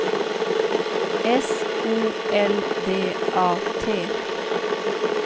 S O L D A T